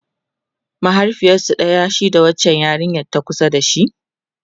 mahaifiyarsu ɗaya shi da wancan yarinyan ta kusa da shi?